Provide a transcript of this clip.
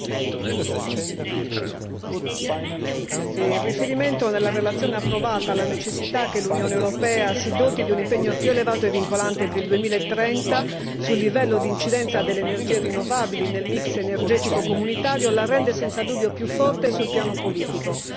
Signor Presidente, onorevoli colleghi, il riferimento nella relazione approvata alla necessità che l'Unione europea si doti di un impegno più elevato e vincolante per il 2030 sul livello di incidenza delle energie rinnovabili nel mix energetico comunitario la rende senza dubbio più forte sul piano politico.